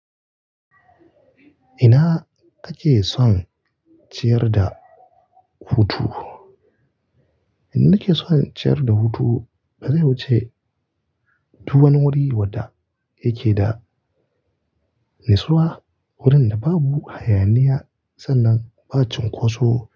Ina kake son ciyar da hutu? Nake son ciyar da hutu? Ba zai wuce duk wani wuri wadda yake da nitsuwa, wurin da babu hayaniya sannan ba cunkoso.